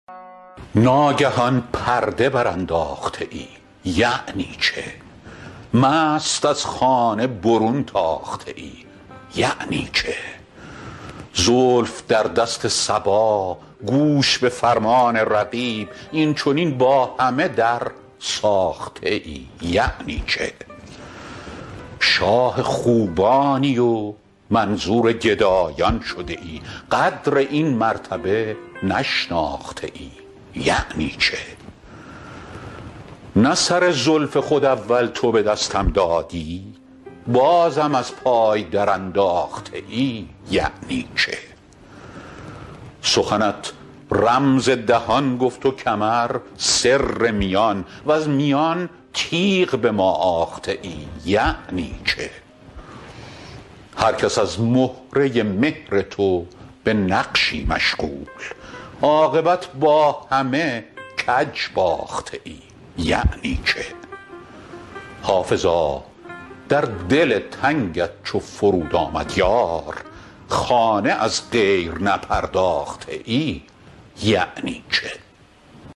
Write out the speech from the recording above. ناگهان پرده برانداخته ای یعنی چه مست از خانه برون تاخته ای یعنی چه زلف در دست صبا گوش به فرمان رقیب این چنین با همه درساخته ای یعنی چه شاه خوبانی و منظور گدایان شده ای قدر این مرتبه نشناخته ای یعنی چه نه سر زلف خود اول تو به دستم دادی بازم از پای درانداخته ای یعنی چه سخنت رمز دهان گفت و کمر سر میان وز میان تیغ به ما آخته ای یعنی چه هر کس از مهره مهر تو به نقشی مشغول عاقبت با همه کج باخته ای یعنی چه حافظا در دل تنگت چو فرود آمد یار خانه از غیر نپرداخته ای یعنی چه